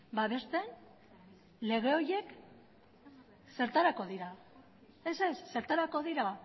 babesten lege horiek zertarako dira ez ez zertarako dira